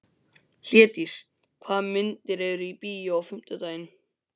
Hlédís, hvaða myndir eru í bíó á fimmtudaginn?